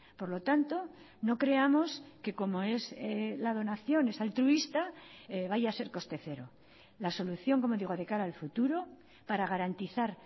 por lo tanto no creamos que como es la donación es altruista vaya a ser coste cero la solución como digo de cara al futuro para garantizar